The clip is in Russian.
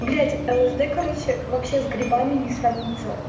блядь лсд короче вообще с грибами не сравнится